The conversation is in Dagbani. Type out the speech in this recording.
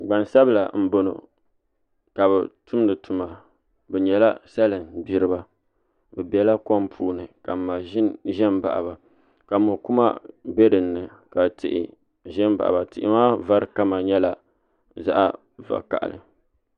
Gbansabila n boŋo ka bi tumdi tuma bi nyɛla salin gbiriba bi biɛla kom puuni ka maʒini ʒɛ n baɣa ba ka mokuma bɛ dinni ka tihi ɖɛ n baɣa ba tihi maa vari kama nyɛla zaɣ vakaɣali